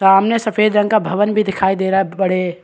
सामने सफेद रंग का भवन भी दिखाई दे रहा है बड़े--